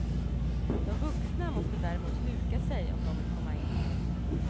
De vuxna måste däremot huka sig om de vill komma in.